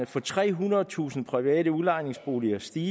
for trehundredetusind private udlejningsboliger stige